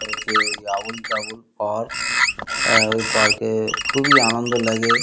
যে ওই আবোলতাবোল পার্ক ওই পার্ক খুবই আনন্দ লাগে।